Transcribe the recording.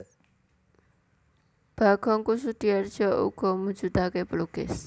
Bagong Kussudiardja uga mujudake pelukis